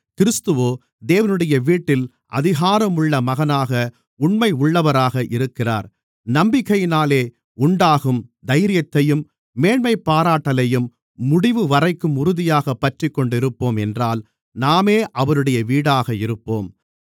கிறிஸ்துவோ தேவனுடைய வீட்டில் அதிகாரமுள்ள மகனாக உண்மையுள்ளவராக இருக்கிறார் நம்பிக்கையினாலே உண்டாகும் தைரியத்தையும் மேன்மைபாராட்டலையும் முடிவுவரைக்கும் உறுதியாகப் பற்றிக்கொண்டிருப்போம் என்றால் நாமே அவருடைய வீடாக இருப்போம்